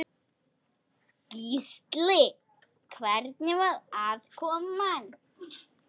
Gísli: Hvernig var aðkoman?